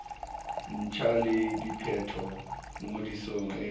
ntjha le diphetolo ngodisong e